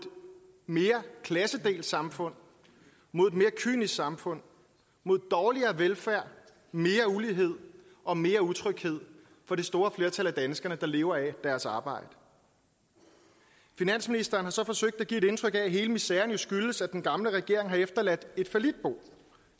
mere klassedelt samfund mod et mere kynisk samfund mod dårligere velfærd mere ulighed og mere utryghed for det store flertal af danskere der lever af deres arbejde finansministeren har så forsøgt at give et indtryk af at hele miseren skyldes at den gamle regering har efterladt et fallitbo